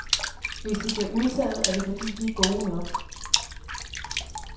Hvis de bliver udtaget, er det fordi, de er gode nok.